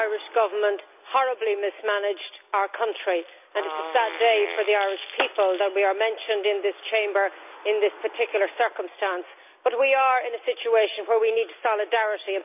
The Irish Government horribly mismanaged our country, and it is a sad day for the Irish people that we are mentioned in this Chamber in these particular circumstances. But we are in a situation where we need solidarity.